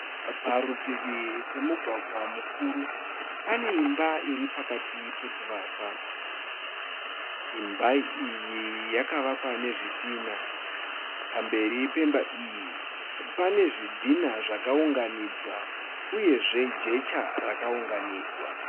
Parutivi pemugwagwa mukuru. Pane imba iri pakati pekuvakwa. Imba iyi yakavakwa nezvitinha . Pamberi pemba iyi pane zvidhinha zvakaunganidzwa uyeve jecha rakaunganidzwa.